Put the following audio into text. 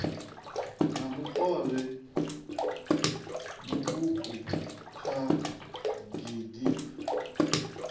na mukovhe muuku kha gdp